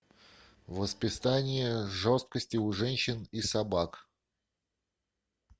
воспитание жестокости у женщин и собак